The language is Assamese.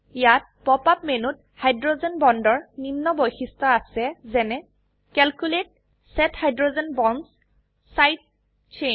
ইয়াত পপ আপ মেনুত হাইড্ৰোজেন বন্ডৰ নিম্ন বৈশিষ্ট্য আছে যেনে calculate set hydrogen bonds side chain